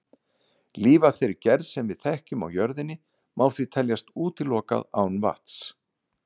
Líf af þeirri gerð sem við þekkjum á jörðinni má því teljast útilokað án vatns.